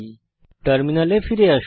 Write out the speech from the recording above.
টার্মিনালে ফিরে আসুন